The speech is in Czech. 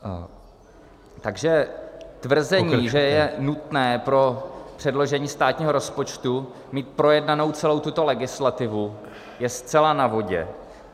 Takže tvrzení, že je nutné pro předložení státního rozpočtu mít projednanou celou tuto legislativu, je zcela na vodě.